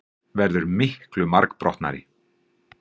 Verður miklu margbrotnari.